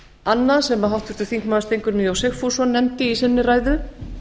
annað sem háttvirtur þingmaður steingrímur j sigfússon nefndi í sinni ræðu